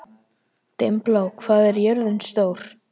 Dimmblá, hvað er jörðin stór?